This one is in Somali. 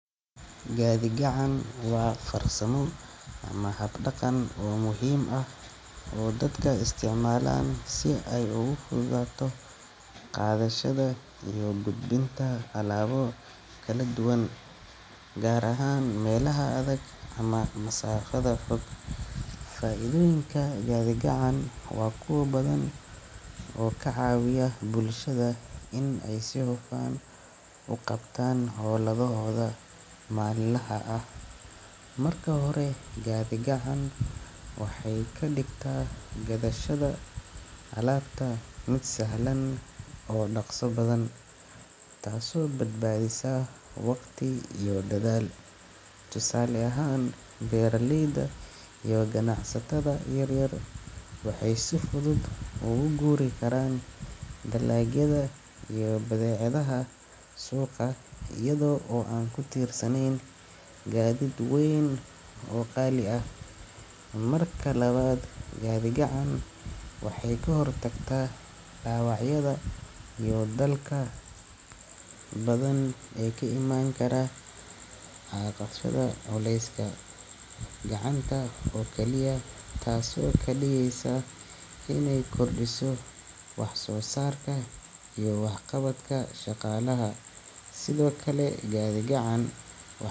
Gadhi- gacan wa farsamo ama hab daqan o muhim aah o dadka isticmalan si ay ugu fududaato qadashada iyo gudbiinta talabo kaladuwan, gar ahan melaha adag ama masaafa foog. Faa'iidonyin gadhi-gacan wa kuwa badan on kacaawiya bulshada in ay si huufan uqabtan howlahooda maalinaha ah. Marka hore Gadhi- gacan waxay kadigta gadashada alabta mid sahlan o daqsa badan taas o badbaadisa waqti iyo dadaal. Tusaale ahan beeraleyda iyo ganacsatada yar yar waxay si fudud ugu guuri karan Talaagada iyo badhecadaha suuqa iyo o aan kutirsaneen Gaadid weyn o qali aah. Marka labad gadhi-gacan waxay kahortagta dawacyada iyo dalka badan ey kaiman kara culeyska gacanta o kaliya taas o kadigeysa inay kordiiso waxsoosarka iyo waxqabadka shaqalaha. Sido kale Gadhi-gacan wax.